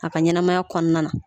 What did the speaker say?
A ka ɲɛnamaya kɔnɔna na